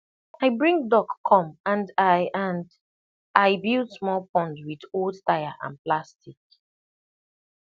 i bring duck come and i and i build small pond with old tyre and plastic